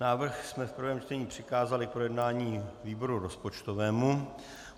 Návrh jsme v prvém čtení přikázali k projednání výboru rozpočtovému.